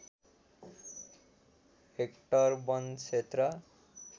hectare वन क्षेत्र